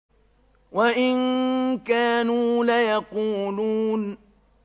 وَإِن كَانُوا لَيَقُولُونَ